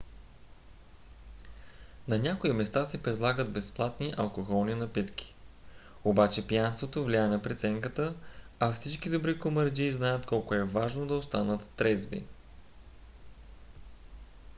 на някои места се предлагат безплатни алкохолни напитки. обаче пиянството влияе на преценката а всички добри комарджии знаят колко е важно да останат трезви